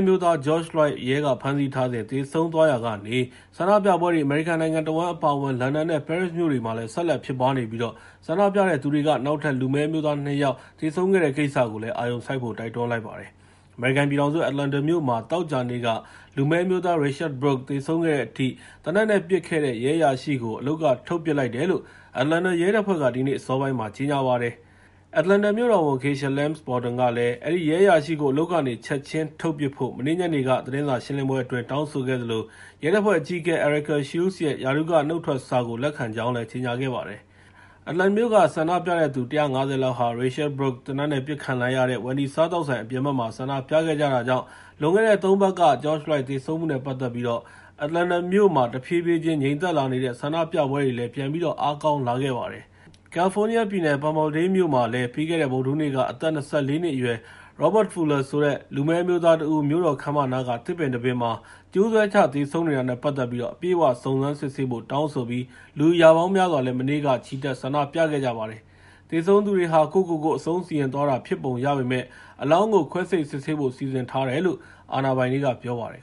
မျိုးသား George Floyd ရဲကဖမ်းဆီးထားစဉ် သေဆုံးသွားရာကနေ ဆန္ဒပြပွဲတွေ အမေရိကန်နိုင်ငံတဝန်း အပါအဝင် လန်ဒန်နဲ့ ပဲရစ်မြို့တွေမှာလည်း ဆက်လက်ဖြစ်ပွားနေပြီး ဆန္ဒပြတဲ့သူတွေက နောက်ထပ် လူမည်းအမျိုးသား ၂ ယောက် သေဆုံးခဲ့တဲ့ ကိစ္စကိုလည်း အာရုံစိုက်ဖို့ တိုက်တွန်းလိုက်ပါတယ်။ အမေရိကန်ပြည်ထောင်စု Atlanta မြို့မှာ သောကြာနေ့က လူမည်းအမျိုးသား Rayshard Brooks သေဆုံးခဲ့တဲ့အထိ သေနတ်နဲ့ပစ်ခဲ့တဲ့ ရဲအရာရှိကို အလုပ်က ထုတ်ပစ်လိုက်တယ်လို့ Atlanta ရဲတပ်ဖွဲ့က ဒီနေ့အစောပိုင်းမှာပဲ ကြေညာလိုက်ပါတယ်။ Atlanta မြို့တော်ဝန် Keisha Lance Bottoms က အဲဒီရဲအရာရှိကို အလုပ်ကနေ ချက်ချင်းထုတ်ပစ်ဖို့ မနေ့ညနေက သတင်းစာရှင်းလင်းပွဲအတွင်း တောင်းဆိုခဲ့သလို ရဲတပ်ဖွဲ့အကြီးအကဲ Erika Shields ရဲ့ ရာထူးက နုတ်ထွက်စာကို လက်ခံခဲ့ကြောင်းလည်း ကြေညာခဲ့ပါတယ်။ Atlanta မြို့က ဆန္ဒပြတဲ့သူ ၁၅၀ လောက်ဟာ Rayshard Brooks သေနတ်နဲ့ ပစ်ခံလိုက်ရတဲ့ Wendy စားသောက်ဆိုင် အပြင်ဘက်မှာ ဆန္ဒပြခဲ့တာကြောင့် လွန်ခဲ့တဲ့ ၃ ပတ်က George Floyd သေဆုံးမှုနဲ့ ပတ်သက်ပြီး Atlanta မြို့မှာ တဖြည်းဖြည်း ငြိမ်သက်လာနေတဲ့ ဆန္ဒပြပွဲတွေလည်း ပြန်ပြီး အားကောင်းလာခဲ့ပါတယ်။ ကယ်လီဖိုးနီးယားပြည်နယ် Palmadale မှာလည်း ပြီးခဲ့တဲ့ ဗုဒ္̔ဓဟူးနေ့က အသက် ၂၄ နှစ်အရွယ် Robert Fuller ဆိုတဲ့ လူမည်းအမျိုးသားတဦး မြို့တော်ခန်းမနားက သစ်ပင်တပင်မှာ ကြိုးဆွဲချ သေဆုံးနေတာနဲ့ ပတ်သက်ပြီး အပြည့်အ၀ စုံစမ်းစစ်ဆေးဖို့ တောင်းဆိုပြီး လူ ရာပေါင်းများစွာ မနေ့က ချီတက် ဆန္ဒပြခဲ့ကြပါတယ်။ သေဆုံးသူဟာ ကိုယ့်ကိုယ်ကိုယ် အဆုံးစီရင်သွားတာ ဖြစ်ပုံရပေမယ့် အလောင်းကို ခွဲစိတ်စစ်ဆေးဖို့ စီစဉ်ထားတယ်လို့ အာဏာပိုင်တွေက ပြောပါတယ်